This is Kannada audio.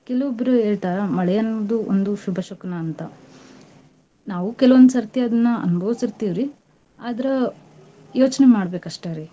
ಕೆಲವೊಬ್ರು ಹೇಳ್ತಾರ ಮಳೆ ಅನ್ನೋದು ಒಂದು ಶುಭ ಶಕುನ ಅಂತಾ. ನಾವೂ ಕೆಲವೊಂದ್ ಸರ್ತಿ ಅದ್ನ ಅನ್ಬೌಸಿರ್ತೀವ್ರಿ. ಆದ್ರ ಯೋಚ್ನೆ ಮಾಡ್ಬೇಕಷ್ಟರೀ.